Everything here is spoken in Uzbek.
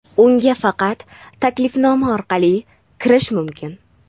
unga faqat taklifnoma orqali kirish mumkin.